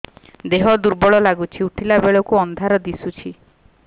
ଦେହ ଦୁର୍ବଳ ଲାଗୁଛି ଉଠିଲା ବେଳକୁ ଅନ୍ଧାର ଦିଶୁଚି